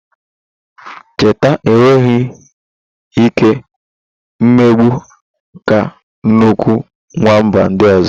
Chịtáh enweghị ike mbigbọ ka nnukwu nwamba ndị ọzọ.